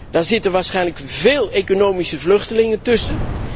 Daar zitten waarschijnlijk veel economische vluchtelingen tussen.